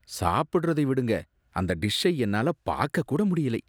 சாப்பிடுறதை விடுங்க, அந்த டிஷ்ஷை என்னால பாக்க கூட முடியலை.